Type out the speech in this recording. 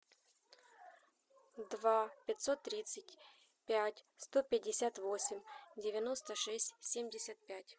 два пятьсот тридцать пять сто пятьдесят восемь девяносто шесть семьдесят пять